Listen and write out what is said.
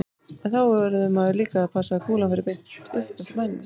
En þá verður maður líka að passa að kúlan fari beint upp eftir mænunni.